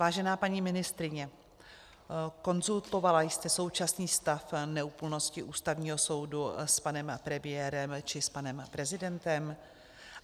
Vážená paní ministryně, konzultovala jste současný stav neúplnosti Ústavního soudu s panem premiérem či s panem prezidentem?